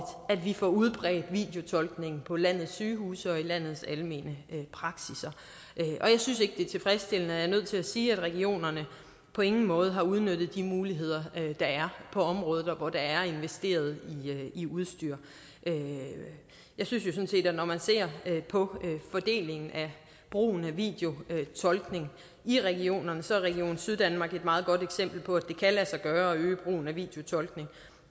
at vi får udbredt videotolkning på landets sygehuse og i landets almene praksisser jeg synes ikke det er tilfredsstillende og jeg er nødt til at sige at regionerne på ingen måde har udnyttet de muligheder der er på området og hvor der er investeret i udstyr jeg synes jo sådan set at når man ser på fordelingen af brugen af videotolkning i regionerne så er region syddanmark et meget godt eksempel på at det kan lade sig gøre at øge brugen af videotolkning